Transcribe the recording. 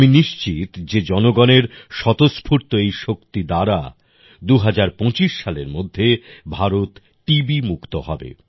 আমি নিশ্চিত যে জনগণের স্বতস্ফূর্ত এই শক্তি দ্বারা ২০২৫ সালের মধ্যে ভারত টিবি মুক্ত হবে